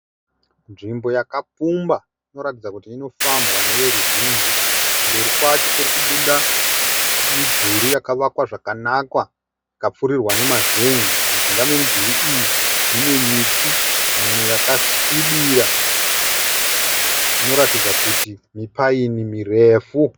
Nzvimbo yakapfumba inoratidza kuti inofambwa neveruzhinji , kumberi kwacho kurikubuda midhuri yakavakwa zvakanaka ikapfirirwa nemazenge mujinga memidhuri iyi mune miti mimwe yakasvibira inoratidza kuti mipine mirefu.